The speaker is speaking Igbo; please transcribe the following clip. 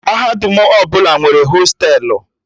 Mahadum ọbụla nwere hostelu